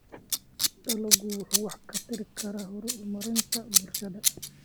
Dalaggu wuxuu wax ka tari karaa horumarinta bulshada.